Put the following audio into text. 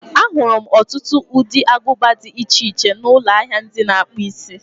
Ahụrụ m ọtụtụ ụdị aguba di iche iche n'ụlọ ahịa ndị na-akpụ isi.